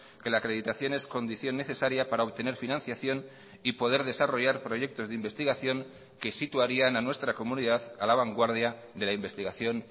que la acreditación es condición necesaria para obtener financiación y poder desarrollar proyectos de investigación que situarían a nuestra comunidad a la vanguardia de la investigación